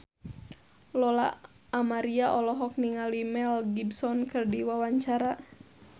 Lola Amaria olohok ningali Mel Gibson keur diwawancara